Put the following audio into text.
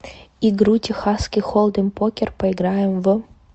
игру техасский холдем покер поиграем в